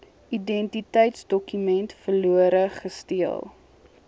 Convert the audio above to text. identiteitsdokument verlore gesteel